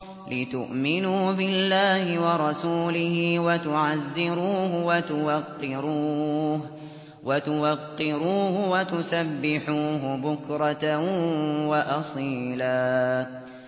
لِّتُؤْمِنُوا بِاللَّهِ وَرَسُولِهِ وَتُعَزِّرُوهُ وَتُوَقِّرُوهُ وَتُسَبِّحُوهُ بُكْرَةً وَأَصِيلًا